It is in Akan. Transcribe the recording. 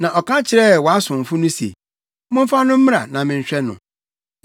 “Na ɔka kyerɛɛ wʼasomfo se, ‘Momfa no mmra, na menhwɛ no.’